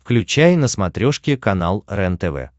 включай на смотрешке канал рентв